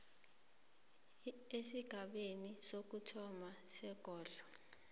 esigabeni sokuthoma sekondlo